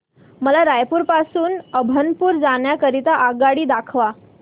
मला रायपुर पासून अभनपुर जाण्या करीता आगगाडी दाखवा